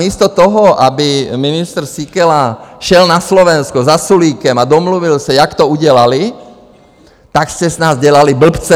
Místo toho, aby ministr Síkela šel na Slovensko za Sulíkem a domluvil se, jak to udělali, tak jste z nás dělali blbce.